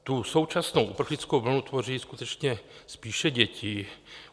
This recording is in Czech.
Tu současnou uprchlickou vlnu tvoří skutečně spíše děti.